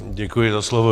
Děkuji za slovo.